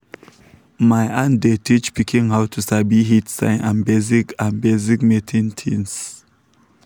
my aunt dey teach pikin how to sabi heat sign and basic and basic mating things.